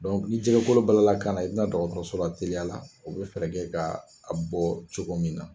ni jɛgɛ kolo bala la kan na i bɛ na dɔgɔtɔrɔso la teliya la u bɛ fɛɛrɛ ka a bɔ cogo min na.